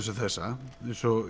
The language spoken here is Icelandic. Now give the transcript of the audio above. og þessa eins og